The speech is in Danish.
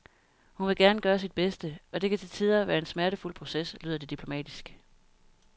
Hun vil gerne gøre sit bedste, og det kan til tider være en smertefuld proces, lyder det diplomatisk.